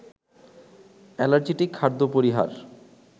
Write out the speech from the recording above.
অ্যালার্জিটিক খাদ্য পরিহার